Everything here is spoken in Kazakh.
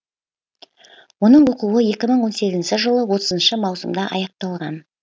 оның оқуы екі мың он сегізінші жылы отызыншы маусымда аяқталған